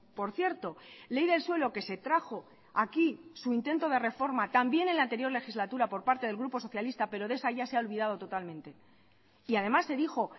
por cierto ley del suelo que se trajo aquí su intento de reforma también en la anterior legislatura por parte del grupo socialista pero de esa ya se ha olvidado totalmente y además se dijo